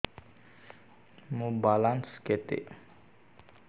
ମୋର ବାଲାନ୍ସ କେତେ